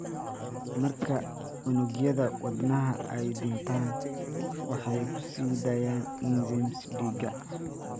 Marka unugyada wadnaha ay dhintaan, waxay ku sii daayaan enzymes dhiigga.